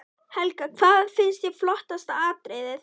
Helga: Hvað fannst þér flottasta atriðið?